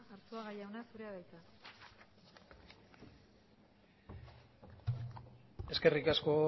arzuaga jauna zurea da hitza eskerrik asko